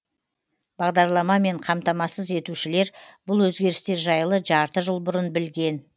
бағдарламамен қамтамасыз етушілер бұл өзгерістер жайлы жарты жыл бұрын білген